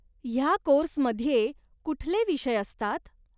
ह्या कोर्समध्ये कुठले विषय असतात?